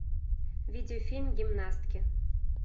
видеофильм гимнастки